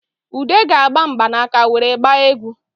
Ude ga-agba mgbanaka nwere gbaa egwu